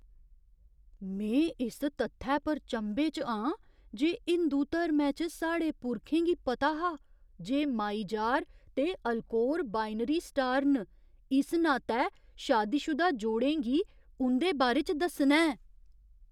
में इस तत्थै पर चंभे च आं जे हिंदू धर्मै च साढ़े पुरखें गी पता हा जे माइजार ते अल्कोर बाइनरी स्टार न, इस नातै शादीशुदा जोड़ें गी उं'दे बारे च दस्सना ऐ ।